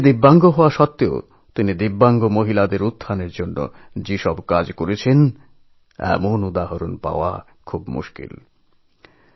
নিজে দিব্যাঙ্গ হয়েও দিব্যাঙ্গ মহিলাদের উন্নয়নের জন্য তিনি যেভাবে কাজ করেছেন তেমন উদাহরণ বিরল